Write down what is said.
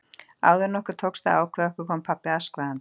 Áður en okkur tókst að ákveða okkur kom pabbi askvaðandi.